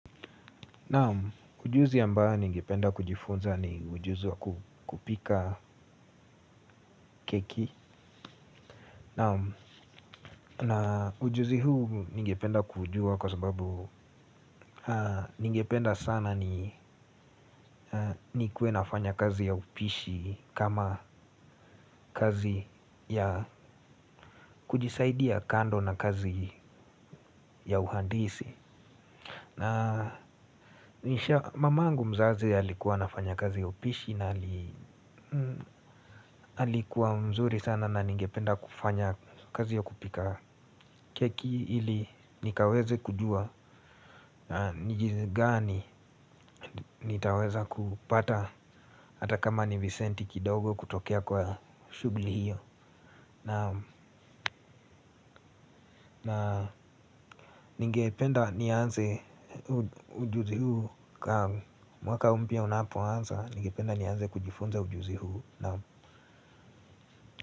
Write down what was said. Naam ujuzi ambao ningependa kujifunza ni ujuzi wa kupika keki. Na ujuzi huu ningependa kuujua kwa sababu ningependa sana nikuwe nafanya kazi ya upishi. Kama kazi ya kujisaidia kando na kazi ya uhandisi. Na nisha mama yangu mzazi alikuwa anafanya kazi upishi na alikuwa mzuri sana na nigependa kufanya kazi ya kupika keki ili nikaweze kujua na jinsi gani nitaweza kupata hata kama ni visenti kidogo kutokea kwa shuguli hiyo. Na nige penda nianze ujuzi huu. Mwaka mpya unapoanza ningependa nianze kujifunza ujuzi huu.